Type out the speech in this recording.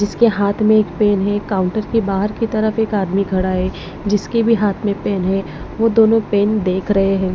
जिसके हाथ में एक पेन है काउंटर के बाहर की तरफ एक आदमी खड़ा है जिसके भी हाथ में पेन है वो दोनों पेन देख रहे हैं।